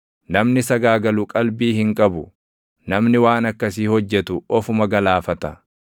Namni sagaagalu qalbii hin qabu; namni waan akkasii hojjetu ofuma galaafata.